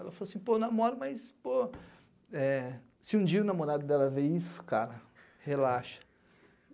Ela falou assim, pô, eu namoro, mas, pô... Eh, se um dia o namorado dela ver isso, cara, relaxa.